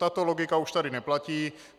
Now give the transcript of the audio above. Tato logika už tady neplatí.